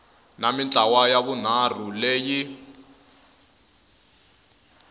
na mintlawa ya vunharhu leyi